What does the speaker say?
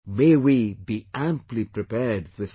May we be amply prepared this time